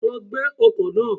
Lọ gbẹ́ ọkọ́ náà.